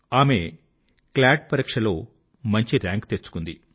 ఆమె క్లాట్ పరీక్షలో మంచి రాంక్ తెచ్చుకుంది